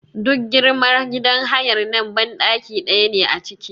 Duk girman gidan hayar nan banɗaki ɗaya ne a ciki.